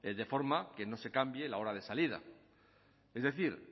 de forma que no se cambie la hora de salida es decir